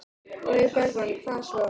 Logi Bergmann: Hvað svo?